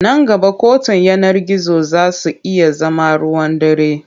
Nan gaba kotun yanar gizo za su iya zama ruwan dare.